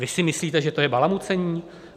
Vy si myslíte, že to je balamucení?